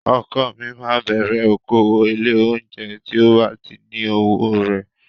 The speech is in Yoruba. Ọkọ mi máa bẹ̀rẹ̀ okòwò ilé-oúnjẹ tí ó bá ní owó rẹ̀.